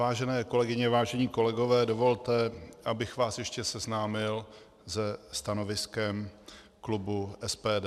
Vážené kolegyně, vážení kolegové, dovolte, abych vás ještě seznámil se stanoviskem klubu SPD.